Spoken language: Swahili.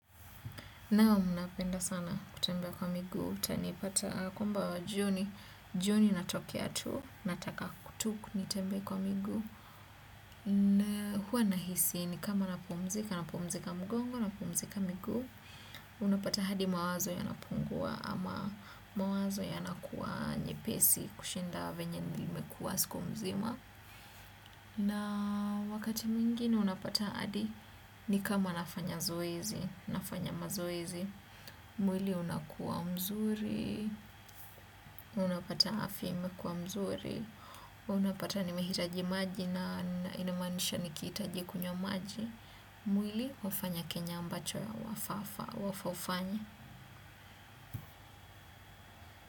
Naam, napenda sana kutembea kwa miguu, utanipata kwamba jioni, jioni natokea tu, nataka tu nitembea kwa miguu, hua nahisi nikama napumzika, napumzika mgongo, napumzika miguu, unapata hadi mawazo yanapungua ama mawazo yanakuwa nyepesi kushinda venye nimekuwa siku mzima. Na wakati mwingine unapata hadi ni kama nafanya zoezi, nafanya mazoezi, mwili unakuwa mzuri, unapata afya imekua mzuri, unapata nimehitaji maji na inamanisha nikihitaji kunywa maji, mwili hufanya kenye ambacho ya, wafaa ufanye.